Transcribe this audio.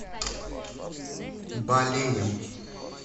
балеем